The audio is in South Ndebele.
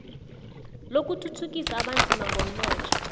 lokuthuthukisa abanzima ngomnotho